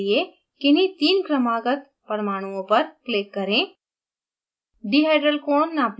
कोण नापने के लिए किन्हीं तीन क्रमागत परमाणुओं पर click करें